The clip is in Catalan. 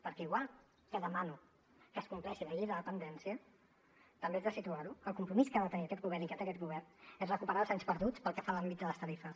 perquè igual que demano que es compleixi la llei de la dependència també haig de situar ho el compromís que ha de tenir aquest govern i que té aquest govern és recuperar els anys perduts pel que fa a l’àmbit de les tarifes